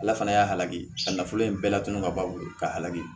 Ala fana y'a halaki a nafolo in bɛɛ la tunu ka ban ka halaki